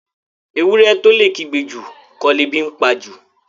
Ewúrẹ́ tó lè kígbe jù, kọ́ lebi ńpa jù.